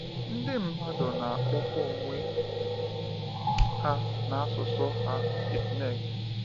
Ndị mmadụ na-akpọkwa onwe ha na asụsụ ha Itneg.